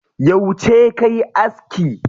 Yauce kayi aski?